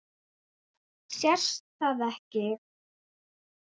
Sést það ekki?